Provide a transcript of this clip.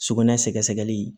Sugunɛ sɛgɛsɛgɛli